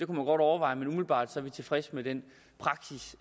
man godt overveje men umiddelbart er vi tilfredse med den praksis